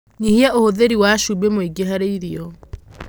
Nyihia ũhũthĩri wa cumbĩ mũingĩ harĩ irio